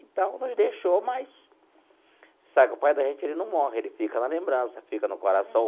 Então, nos deixou, mas... Sabe, o pai da gente ele não morre, ele fica na lembrança, fica no coração.